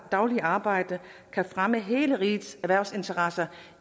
daglige arbejde kan fremme hele rigets erhvervsinteresser